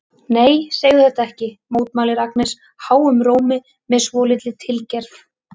Nei, segðu þetta ekki, mótmælir Agnes háum rómi með svolítilli tilgerð.